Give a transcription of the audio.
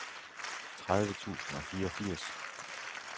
tredive tusind og fireogfirs